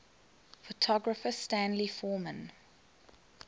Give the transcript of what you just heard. photographer stanley forman